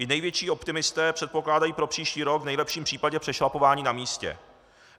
I největší optimisté předpokládají pro příští rok v nejlepším případě přešlapování na místě.